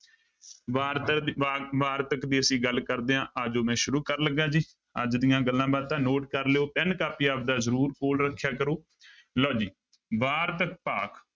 ਵਾਰਤਕ ਦੀ ਵਾ ਵਾਰਤਕ ਦੀ ਅਸੀਂ ਗੱਲ ਕਰਦੇ ਹਾਂ ਆ ਜਾਓ ਮੈਂ ਸ਼ੁਰੂ ਕਰਨ ਲੱਗਾ ਜੀ ਅੱਜ ਦੀਆਂ ਗੱਲਾਂ ਬਾਤਾਂ note ਕਰ ਲਇਓ ਪੈਨ ਕਾਪੀ ਆਪਦਾ ਜ਼ਰੂਰ ਕੋਲ ਰੱਖਿਆ ਕਰੋ, ਲਓ ਜੀ ਵਾਰਤਕ ਭਾਗ।